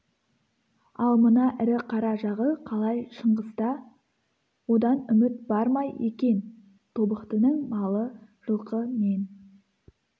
ал мына ірі қара жағы қалай шыңғыста одан үміт бар ма екен тобықтының малы жылқы мен